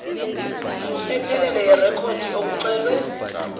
ephelele yerekhodi okucelwe